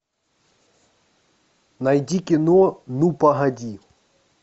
найди кино ну погоди